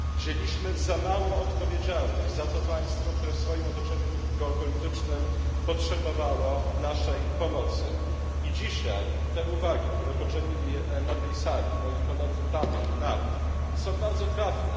Wzięliśmy za małą odpowiedzialność za to państwo, które w swoim otoczeniu geopolitycznym potrzebowało naszej pomocy, i dzisiaj te uwagi, które poczynili na tej sali moi koledzy Charles Tannock, Javier Nart są bardzo trafne.